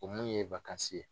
O mun ye ye